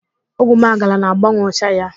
Ogwumagala na-agbanwe ụcha ya.